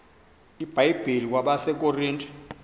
ibhayibhile kwabase korinte